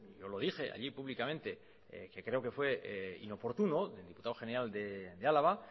yo lo dije allí públicamente que creo que fue inoportuno del diputado general de álava